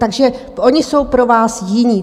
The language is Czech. Takže oni jsou pro vás jiní.